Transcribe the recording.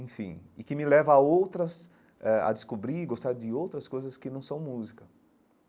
Enfim, e que me leva a outras... eh a descobrir e gostar de outras coisas que não são música.